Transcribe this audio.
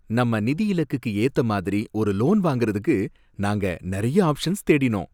நம்ம நிதி இலக்குக்கு ஏத்த மாதிரி ஒரு லோன் வாங்குறதுக்கு நாங்க நறைய ஆப்ஷன்ஸ் தேடினோம்.